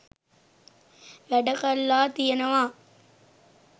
වැඩ කරලා තියෙනවා